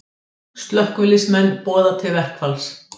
Slökkviliðsmenn boða til verkfalls